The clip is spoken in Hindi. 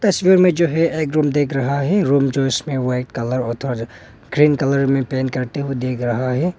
तस्वीर में जो है एक रूम दिख रहा है रूम जो इसमें व्हाइट कलर ग्रीन कलर में पेंट करते हुए दिख रहा है।